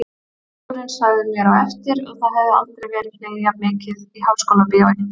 Bíóstjórinn sagði mér á eftir að það hefði aldrei verið hlegið jafn mikið í Háskólabíói.